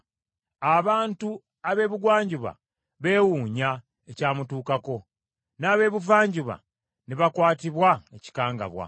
Abantu ab’ebugwanjuba beewuunya ebyamutuukako; n’ab’ebuvanjuba ne bakwatibwa ekikangabwa.